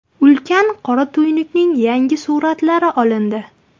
Ulkan qora tuynukning yangi suratlari olindi.